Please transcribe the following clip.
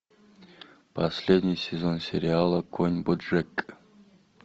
последний сезон сериала конь боджек